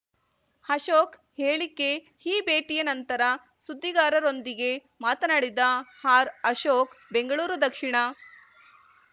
ಅಶೋಕ್ ಹೇಳಿಕೆ ಈ ಭೇಟಿಯ ನಂತರ ಸುದ್ದಿಗಾರರೊಂದಿಗೆ ಮಾತನಾಡಿದ ಆರ್ ಅಶೋಕ್ ಬೆಂಗಳೂರು ದಕ್ಷಿಣ